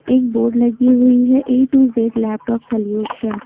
एक बोर्ड लगी हुई है A to Z laptop solution.